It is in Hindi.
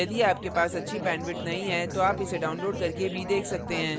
यदि आपके पास अच्छी bandwidth नहीं है तो आप इसे download करके भी देख सकते हैं